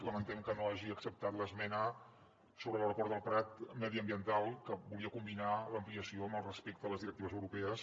lamentem que no hagi acceptat l’esmena sobre l’aeroport del prat mediambiental que volia combinar l’ampliació amb el respecte a les directives europees